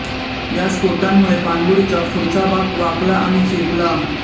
या स्फोटांमुळे पाणबुडीचा पुढचा भाग वाकला आणि चेपला